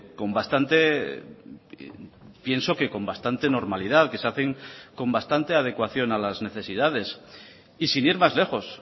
con bastante pienso que con bastante normalidad que se hacen con bastante adecuación a las necesidades y sin ir más lejos